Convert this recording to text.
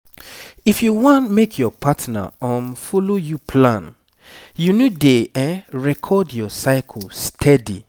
if you wan make your partner um follow you plan you need dey record your cycle steady